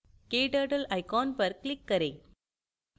kturtle icon पर click करें